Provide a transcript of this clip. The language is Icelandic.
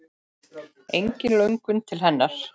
Engin löngun til hennar.